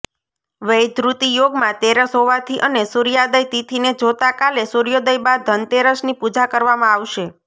વૈધૃતિ યોગમાં તેરસ હોવાથી અને સુર્યાદય તિથીને જોતા કાલે સુર્યોદય બાદ ધનતેરસની પુજા કરવામાં આવશે